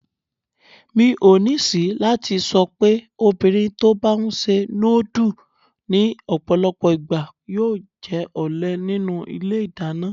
Mi ò ní ṣìí láti sọ'pé obìnrin tó' bá ńṣe núdù ní ọ̀pọ̀lọpọ̀ ìgbà yóò jẹ́ ọ̀lé nínú ilé ìdáná.